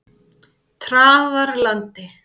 Traðarlandi